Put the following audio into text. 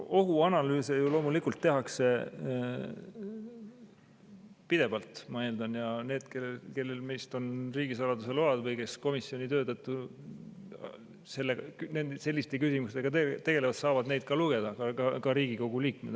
Ohuanalüüse ju loomulikult tehakse pidevalt, ma eeldan, ja need, kellel meist on riigisaladuse luba või kes komisjoni töö tõttu selliste küsimustega tegelevad, saavad neid ka lugeda, ka Riigikogu liikmed.